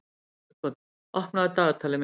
Margot, opnaðu dagatalið mitt.